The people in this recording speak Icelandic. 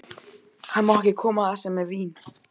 Hann má ekki koma þar sem er vín.